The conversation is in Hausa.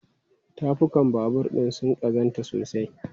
Tafukan babur ɗin sun ƙazantu sosai.